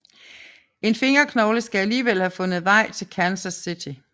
En fingerknogle skal alligevel have fundet vejen til Kansas City